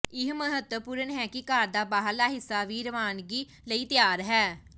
ਇਹ ਮਹੱਤਵਪੂਰਨ ਹੈ ਕਿ ਘਰ ਦਾ ਬਾਹਰਲਾ ਹਿੱਸਾ ਵੀ ਰਵਾਨਗੀ ਲਈ ਤਿਆਰ ਹੈ